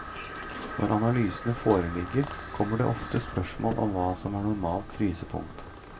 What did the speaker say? Når analysene foreligger, kommer det ofte spørsmål om hva som er normalt frysepunkt.